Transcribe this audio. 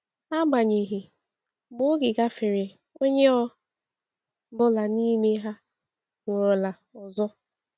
Agbanyeghị, mgbe oge gafere, onye ọ bụla n’ime ha nwụrụla ọzọ.